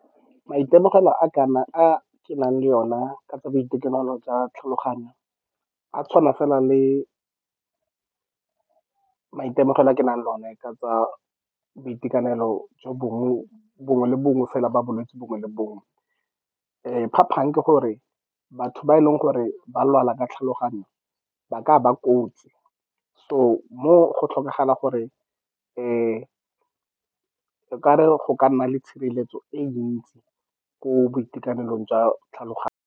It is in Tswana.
Maitemogelo a kana, a ke nang le ona ka tsa boitekanelo jwa tlhaloganyo, a tshwana fela le maitemogelo a ke nang le one ka tsa boitekanelo jo bongwe, bongwe le bongwe fela jwa bolwetse bongwe le bongwe. Phapang ke gore batho ba e leng gore ba lwala ka tlhaloganyo ba ka ba kotsi, so moo go tlhokagala gore o ka re go ka nna le tshireletso e ntsi ko boitekanelong jwa tlhaloganyo.